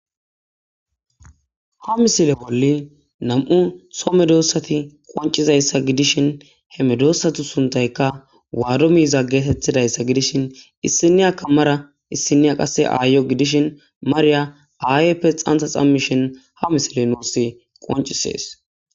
Ha misile bolla nam'u so medosati qonc'ishin he medosatu sunthayka waddo miiza geettetizaysa gidishin issiniyaka mara issiniya mara issiniya qase ayiyo gidishin Mariya ayeyippe dhantha dhamishin ha misiley nusi qonc'ises.